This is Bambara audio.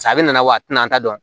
ale nana wa a tina an ta dɔn